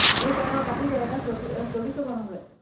তেইশ হল আও কাটি দে, একে চৈত্ৰি, একবাৰে চৌব্বিশ হব নহলে।